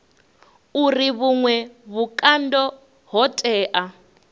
uri vhuṅwe vhukando ho tea